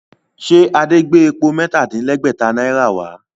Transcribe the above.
Ṣe Adé gbé epo mẹ́ta-dín-lẹ́gbẹ̀tá náírà wá?